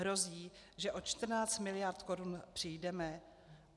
Hrozí, že o 14 miliard korun přijdeme?